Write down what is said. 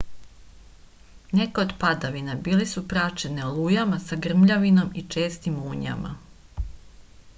neke od padavina bile su praćene olujama sa grmljavinom i čestim munjama